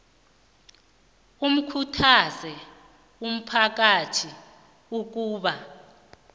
ikhuthaze umphakathi ukuba